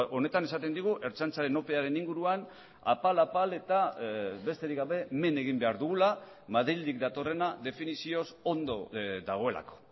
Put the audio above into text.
honetan esaten digu ertzaintzaren opearen inguruan apal apal eta besterik gabe men egin behar dugula madrildik datorrena definizioz ondo dagoelako